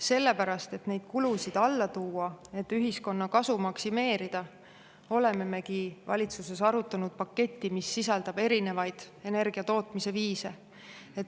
Sellepärast, et neid kulusid alla tuua ja ühiskonna kasu maksimeerida, olemegi valitsuses arutanud paketti, mis sisaldab erinevaid energia tootmise viise.